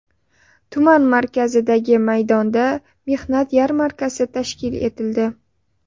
Tuman markazidagi maydonda mehnat yarmarkasi tashkil etildi.